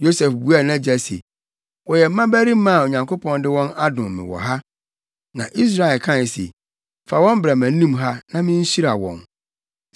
Yosef buaa nʼagya se, “Wɔyɛ mmabarima a Onyankopɔn de wɔn adom me wɔ ha.” Na Israel kae se, “Fa wɔn bra mʼanim ha na minhyira wɔn.”